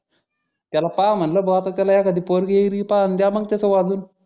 त्या पाहा म्हणल बा आता त्याला एखादी पोरगी गिरगी पाहा दया मग त्याच वाजून